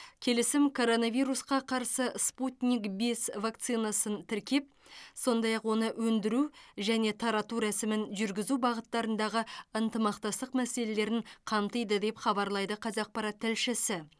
келісім коронавирусқа қарсы спутник бес вакцинасын тіркеп сондай ақ оны өндіру және тарату рәсімін жүргізу бағыттарындағы ынтымақтастық мәселелерін қамтиды деп хабарлайды қазақпарат тілшісі